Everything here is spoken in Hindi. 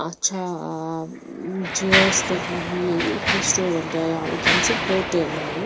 अच्छा आ उम चेयर्स लगी हुई है ये रेस्टोरेंट है यहाँ वैकन्सी होटल है ये--